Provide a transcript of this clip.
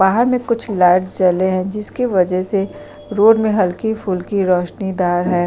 बाहर में कुछ लाइट्स जले है जिसके वज़ह से रोड में हल्की फुल्की रौशनी दार हैं।